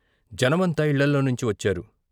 జనమంతా ఇళ్ళలోనించి వచ్చారు.